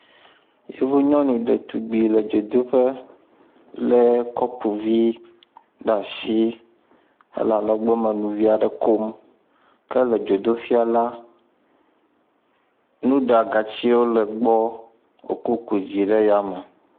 Yevu nyɔnu ɖetugbui le dzodoƒe lé kɔpu vi le asi hele alɔgbɔ me nu vi aɖe kom. Ke le dzodoƒea la, nuɖagatsiwo le gbɔ wokɔ ku dzi le yame.